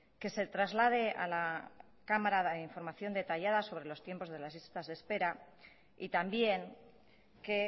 que se traslade a la cámara la información detallada sobre los tiempos de las listas de espera y también que